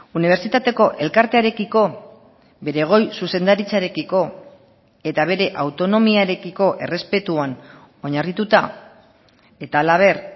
unibertsitateko elkartearekiko bere goi zuzendaritzarekiko eta bere autonomiarekiko errespetuan oinarrituta eta halaber